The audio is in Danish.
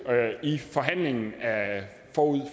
i forhandlingen forud